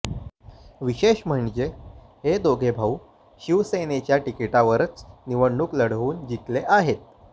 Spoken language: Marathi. विशेष म्हणजे हे दोघे भाऊ शिवसेनेच्या तिकीटावरच निवडणूक लढवून जिंकले आहेत